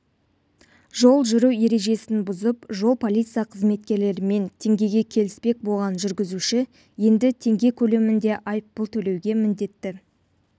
жол жүру ережесін бұзып жол полиция қызметкерлерімен теңгеге келіспек болған жүргізуші енді теңгекөлемінде айыппұл төлеуге міндетті